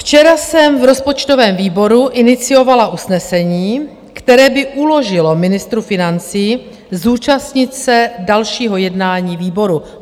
Včera jsem v rozpočtovém výboru iniciovala usnesení, které by uložilo ministru financí zúčastnit se dalšího jednání výboru.